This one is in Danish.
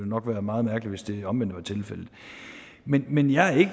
nok være meget mærkeligt hvis det omvendte var tilfældet men men jeg er ikke